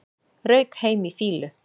Rauk heim í fýlu